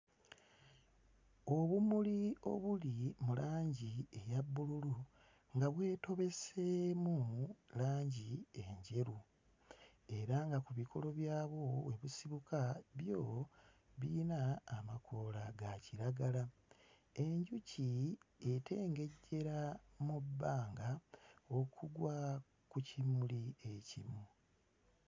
Obumuli obuli mu langi eya bbululu nga bwetobeseemu langi enjeru era nga ku bikolo byabwo kwe busibuka byo birina amakoola ga kiragala. Enjuki etengejjera mu bbanga okugwa ku kimuli ekimu.